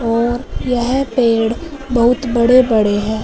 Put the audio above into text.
और यह पेड़ बहुत बड़े बड़े हैं।